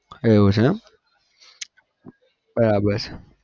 એવું છે એમ બરાબર